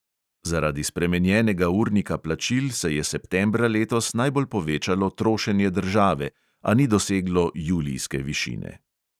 Zaradi spremenjenega urnika plačil se je septembra letos najbolj povečalo trošenje države, a ni doseglo julijske višine.